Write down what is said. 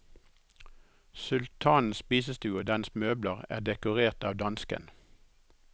Sultanens spisestue og dens møbler er dekorert av dansken.